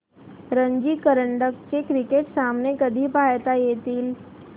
रणजी करंडक चे क्रिकेट सामने कधी पाहता येतील